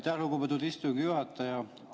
Aitäh, lugupeetud istungi juhataja!